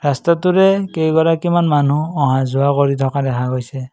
ৰাস্তাটোৰে কেইগৰাকীমান মানুহ অহা যোৱা কৰি থকা দেখা গৈছে।